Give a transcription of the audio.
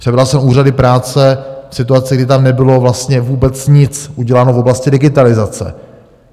Přebral jsem úřady práce v situaci, kdy tam nebylo vlastně vůbec nic uděláno v oblasti digitalizace.